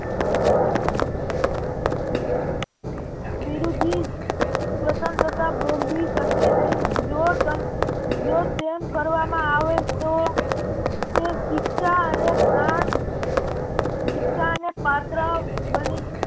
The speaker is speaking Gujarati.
વિરુઘી સ્વતંત્રતા ભોગવી શકે નહિ જો તેમ કરવામાં આવે તો શિક્ષા અને પ્રાણ શિક્ષાને પાત્ર બને